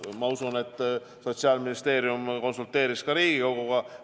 Ma usun, et Sotsiaalministeerium konsulteeris ka Riigikoguga.